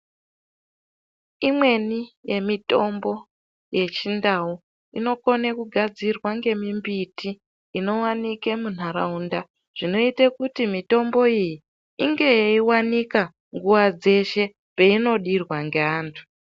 Imweni yemitombo yeChiNdau inokone kugadzirwa nemimbiti inowanika muntaraunda zvinoite kuti mitombo iyi inge yeiwanika nguwa dzeshe peinodirwa ngeantu.